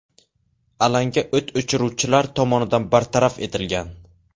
Alanga o‘t o‘chiruvchilar tomonidan bartaraf etilgan.